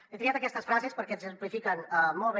he triat aquestes frases perquè exemplifiquen molt bé